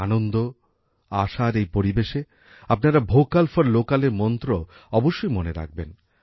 আনন্দ আশার এই পরিবেশে আপনারা ভোকাল ফর লোকালের মন্ত্র অবশ্যই মনে রাখবেন